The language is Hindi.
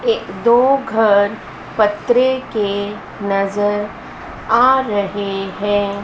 ये दो घर पतरे के नजर आ रहे हैं।